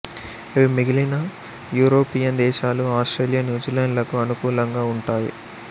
ఇవి మిగిలిన యూరోపియన్ దేశాలు ఆస్ట్రేలియా న్యూజిలాండ్ లకు అనుకూలంగా ఉంటాయి